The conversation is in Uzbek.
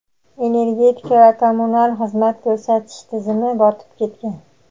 energetika va kommunal xizmat ko‘rsatish tizimi botib ketgan.